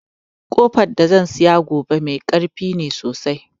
Ƙofan da zan saya gobe mai karfi ne sosai